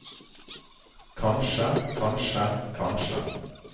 kanskje kanskje kanskje